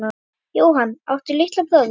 Jóhann: Áttu litla bróðir?